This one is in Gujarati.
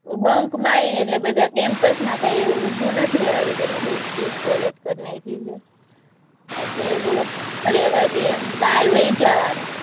bunk મારે ને એટલે બધા college માં કઈ એવું ઉભું નથી રેવા દેતા, અમારે બોવ strict college કરી નાખી છે, બહાર વઈ જવાનું,